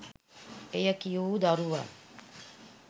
එය කිය වූ දරුවන්